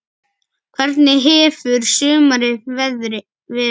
Hvernig hefur sumarið verið?